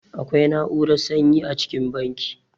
Akwai na'urar sanyi a cikin banki.